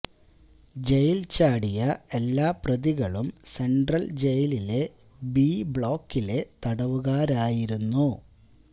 ജയില് ചാടിയ എല്ലാ പ്രതികളും സെന്ട്രല് ജയിലിലെ ബി ബ്ലോക്കിലെ തടവുകാരായിരുന്നു